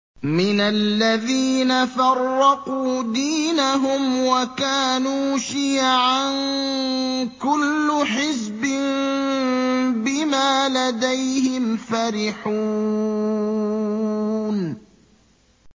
مِنَ الَّذِينَ فَرَّقُوا دِينَهُمْ وَكَانُوا شِيَعًا ۖ كُلُّ حِزْبٍ بِمَا لَدَيْهِمْ فَرِحُونَ